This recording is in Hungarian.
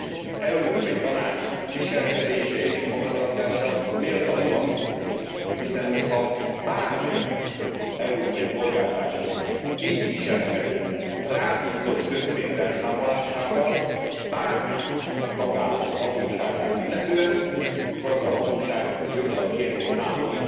Az Európai Tanács viselkedése és magatartása méltatlan, hiszen hogyha bármelyik európai polgártársunk így viselkedne rábízott közpénz elszámolásával bármelyik tagállam hatóságát illetően, akkor az a hatóság joggal kérné számon